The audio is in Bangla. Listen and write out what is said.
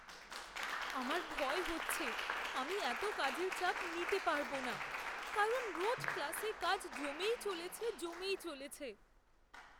আমার ভয় হচ্ছে আমি এতো কাজের চাপ নিতে পারব না, কারণ রোজ ক্লাসে কাজ জমেই চলেছে জমেই চলেছে!